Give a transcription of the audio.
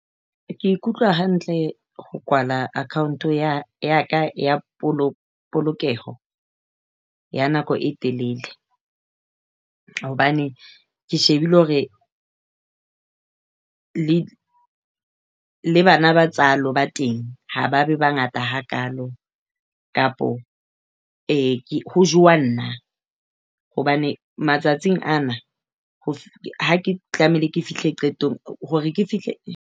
Ke ikutlwa hantle ho kwala account ya ka ya polokeho ya nako e telele. Hobane ke shebile hore le bana ba tsalo ba teng ha ba bangata hakaalo kapa eh ho jewa nna hobane matsatsing ana ha ke tlamehile ke fihle qetong hore ke fihle.